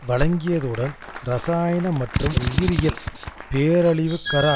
வழங்கியதுடன் இரசாயன மற்றும் உயிரியியல் பேரழிவுகர